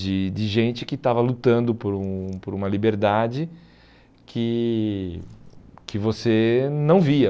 de de gente que estava lutando por um por uma liberdade que que você não via.